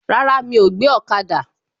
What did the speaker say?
Rárá, mi ò gbé ọ̀kada